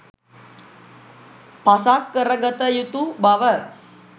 පසක් කරගත යුතු බව